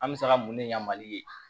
An bɛ se ka mun ne yamaru ye